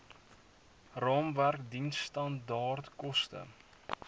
raamwerk diensstandaard koste